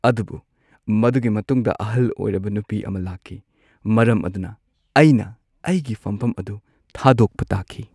ꯑꯗꯨꯕꯨ ꯃꯗꯨꯒꯤ ꯃꯇꯨꯡꯗ ꯑꯍꯜ ꯑꯣꯏꯔꯕ ꯅꯨꯄꯤ ꯑꯃ ꯂꯥꯛꯈꯤ ꯃꯔꯝ ꯑꯗꯨꯅ ꯑꯩꯅ ꯑꯩꯒꯤ ꯐꯝꯐꯝ ꯑꯗꯨ ꯊꯥꯗꯣꯛꯄ ꯇꯥꯈꯤ꯫